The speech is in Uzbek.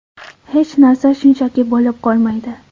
Hech narsa shunchaki bo‘lib qolmaydi.